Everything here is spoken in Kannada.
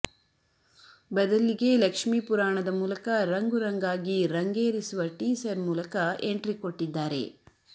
ಬದಲ್ಲಿಗೆ ಲಕ್ಷ್ಮೀ ಪುರಾಣದ ಮೂಲಕ ರಂಗು ರಂಗಾಗಿ ರಂಗೇರಿಸುವ ಟೀಸರ್ ಮೂಲಕ ಎಂಟ್ರಿಕೊಟ್ಟಿದ್ದಾರೆ